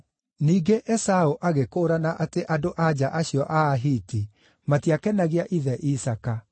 Ningĩ Esaũ agĩkũũrana atĩ andũ-a-nja acio a Ahiti matiakenagia ithe, Isaaka;